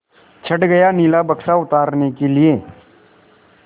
चढ़ गया नीला बक्सा उतारने के लिए